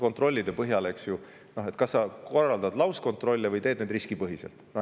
Kontrollide puhul on ju kaks varianti: sa kas korraldad lauskontrolle või teed need riskipõhiselt.